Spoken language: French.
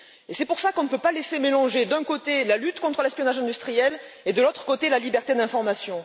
C'est pour cela qu'on ne peut pas laisser mélanger d'un côté, la lutte contre l'espionnage industriel et, de l'autre, la liberté d'information.